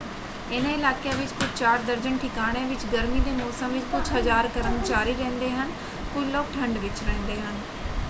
ਇਹਨਾਂ ਇਲਾਕਿਆਂ ਵਿੱਚ ਕੁਝ ਚਾਰ ਦਰਜਨ ਠਿਕਾਣਿਆਂ ਵਿੱਚ ਗਰਮੀ ਦੇ ਮੌਸਮ ਵਿੱਚ ਕੁਝ ਹਜ਼ਾਰ ਕਰਮਚਾਰੀ ਰਹਿੰਦੇ ਹਨ; ਕੁਝ ਲੋਕ ਠੰਡ ਵਿੱਚ ਰਹਿੰਦੇ ਹਨ।